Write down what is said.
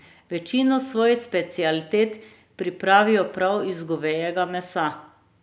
Večino svojih specialitet pripravijo prav iz govejega mesa.